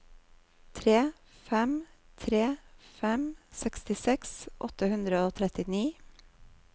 tre fem tre fem sekstiseks åtte hundre og trettini